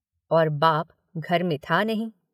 और बाप घर में था नहीं।